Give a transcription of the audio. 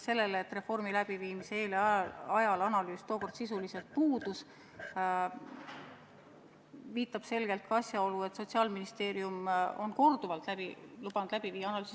Sellele, et reformi läbiviimise eel ja ajal analüüs tookord sisuliselt puudus, viitab selgelt ka asjaolu, et Sotsiaalministeerium on korduvalt lubanud läbi viia analüüsi.